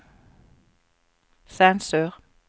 sensur